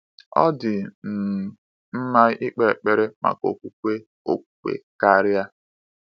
Ọ dị um mma ịkpe ekpere maka okwukwe okwukwe karịa.